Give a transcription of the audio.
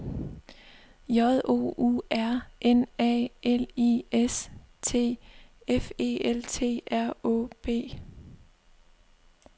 J O U R N A L I S T F E L T R Å B